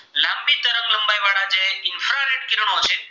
કિરણો છે